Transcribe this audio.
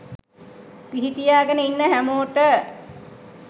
පිහි තියාගෙන ඉන්න හැමෝට